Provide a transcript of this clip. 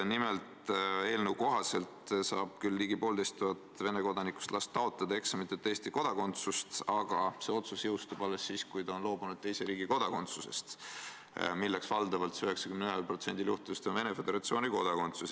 Nimelt, eelnõu kohaselt saab küll ligi poolteist tuhat Venemaa kodanikust last taotleda eksamiteta Eesti kodakondsust, aga see otsus jõustub alles siis, kui ta on loobunud teise riigi kodakondsusest, milleks valdavalt 91% juhtudel on Venemaa Föderatsiooni kodakondsus.